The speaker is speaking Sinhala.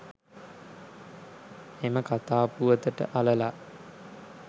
එම කතා පුවතට අළලා